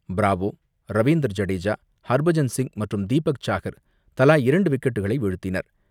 Bravo, Ravinder Jadeja, Harbhajan Singh மற்றும் தீபக் சஹார் தலா இரண்டு விக்கெட்டுகளை வீழ்த்தினர்.